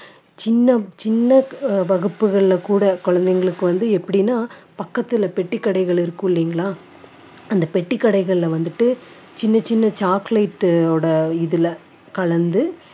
சின்ன சின்ன அஹ் வகுப்புகள்ல கூட குழந்தைங்களுக்கு வந்து எப்படின்னா பக்கத்துல பெட்டிக்கடைகள் இருக்கும் இல்லீங்களா அந்த பெட்டிக்கடைகள்ல வந்துட்டு சின்ன சின்ன chocolate ஓட இதுல கலந்து